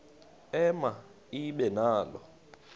ema ibe nalo